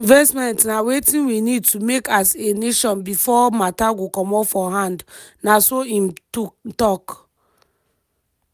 dis investment na wetin we need to make as a nation before matter go comot for hand" na so im tok.